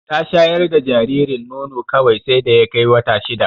Ta shayar da jaririn nono kawai sai da ya kai wata shida.